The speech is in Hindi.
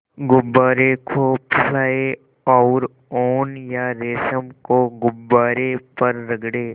गुब्बारे को फुलाएँ और ऊन या रेशम को गुब्बारे पर रगड़ें